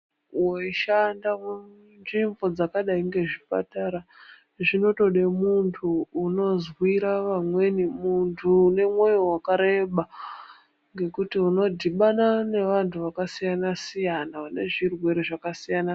Weishanda mundau dzakadai ngemuzvibhedhlera, zvinotoda munthu unozwira vanthani, munthu une mwoyo wakareba. Ngekuti unodhibana neanthu akasiyana - siyana, vane matenda akasiyana-siyana.